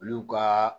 Olu ka